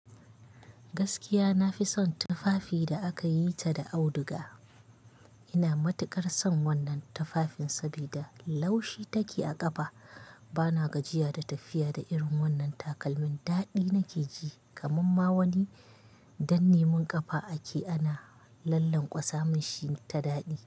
Gaskiya nafi son tufafi da aka yi ta da auduga. Ina matukar son wannan tufafin saboda laushi take a kafa. Bana gajiya da tafiya da irin wannan takalmin. Dadi nake ji kaman ma wani danne mun kafa ake ana lallan kwasamin shi ta dadi.